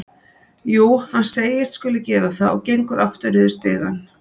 Jú, hann segist skuli gera það og gengur aftur niður stigann.